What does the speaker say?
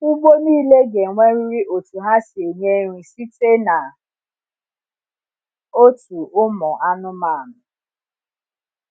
Ugbo nile ga enwerịrị otu ha si enye nri site na otu ụmụ anụmanụ